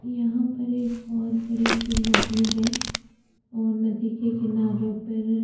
यहाँ पर एक बहोत बड़ी सी नदी है और नदी के किनारो पर--